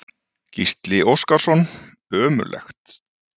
Gísli Óskarsson: Ömurlegt?